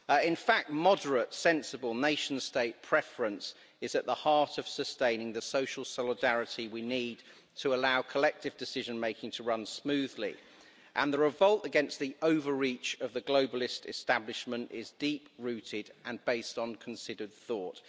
In fact, moderate, sensible nation-state preference is at the heart of sustaining the social solidarity we need to allow collective decision making to run smoothly, and the revolt against the overreach of the globalist establishment is deep rooted and based on considered thought.